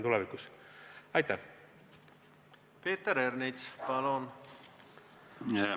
Peeter Ernits, palun!